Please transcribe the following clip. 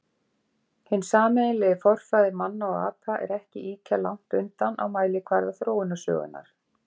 Hinn sameiginlegi forfaðir manna og apa er ekki ýkja langt undan á mælikvarða þróunarsögunnar.